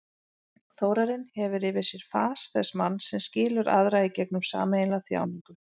Þórarinn hefur yfir sér fas þess manns sem skilur aðra í gegnum sameiginlega þjáningu.